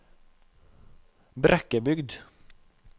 Brekkebygd